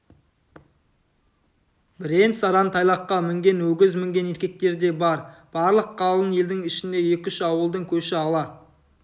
бірен-саран тайлаққа мінген өгіз мінген еркектер де бар барлық қалың елдің ішінде екі-үш ауылдың көші ала